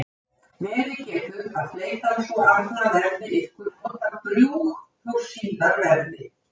Verið getur að fleytan sú arna verði ykkur notadrjúg þótt síðar verði.